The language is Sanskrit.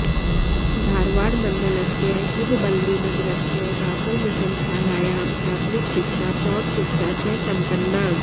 धारवाडमण्डलस्य हुब्बळ्ळिनगरस्य बासल् मिशन् शालायां प्राथमिकशिक्षा प्रौढशिक्षा च सम्पन्ना